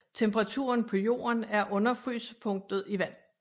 Temperaturen på jorden er under frysepunktet i vand